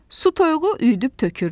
Su toyuğu üyüdüb tökürdü.